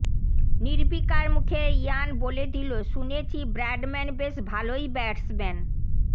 নির্বিকার মুখে ইয়ান বলে দিল শুনেছি ব্র্যাডম্যান বেশ ভালই ব্যাটসম্যান